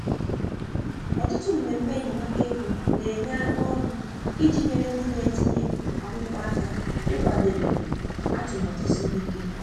Ọtụtụ mmemme enyemaka ego na-enye aka ọrụ iji nyere ndị na-etinye akwụkwọ aka ịkwadebe atụmatụ siri ike.